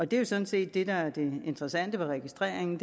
det er sådan set det der er det interessante ved registreringen